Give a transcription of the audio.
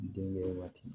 Denkɛ waati